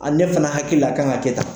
Ani ne fana hakili la a kan ka kɛ tan